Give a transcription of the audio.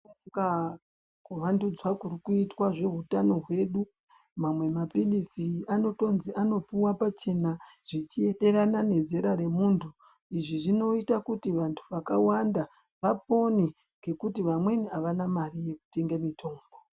Kuvandudzwa kuri kuitwa zveutano hwedu mamwe maphilzi anotonzi anopuwa pachena zvichienderana nezera remuntu, izvi zvinoita kuti vanhu vakawanda vapone ngekuti vamweni avana mari yekutenge mitombo.